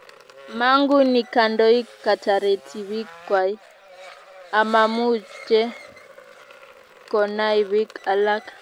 Mangune kandoik katareti piik kwai amamche konai piik alak